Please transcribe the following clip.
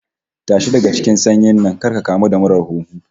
Tashi daga cikin sanyin nan kar ka kamu da murar huhu